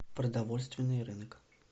продовольственный рынок